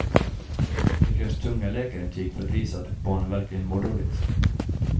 Det krävs tunga läkarintyg för att visa att barnen verkligen mår dåligt.